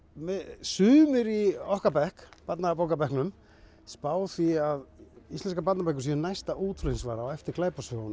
sumir í okkar bekk í barnabókabekknum spá því að íslenskar barnabækur séu næsta útflutningsvara á eftir